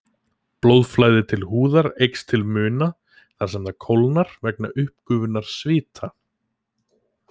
Blóðflæði til húðar eykst til muna þar sem það kólnar vegna uppgufunar svita.